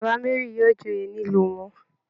Baba Mary yóò joyè nílùú wọn